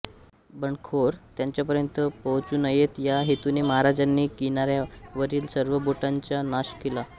बंडखोर त्यांच्यापर्यंत पोहोचू नयेत या हेतुने महाराजांनी किंनायावरील सर्व बोटींचा नाश केला